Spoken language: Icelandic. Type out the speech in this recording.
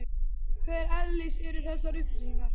Hvers eðlis eru þessar upplýsingar?